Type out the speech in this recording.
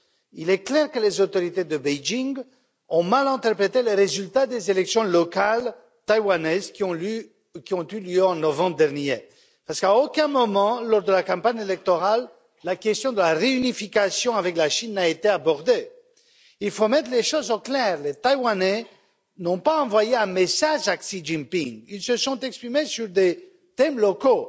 Il est clair que les autorités de Pékin ont mal interprété les résultats des élections locales taïwanaises qui ont eu lieu en novembre dernier, parce qu'à aucun moment, lors de la campagne électorale, la question de la réunification avec la Chine n'a été abordée. Il faut mettre les choses au clair les Taïwanais n'ont pas envoyé un message à Xi Jinping, ils se sont exprimés sur des thèmes locaux